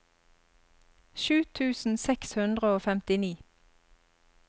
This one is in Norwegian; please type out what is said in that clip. sju tusen seks hundre og femtini